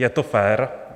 Je to fér?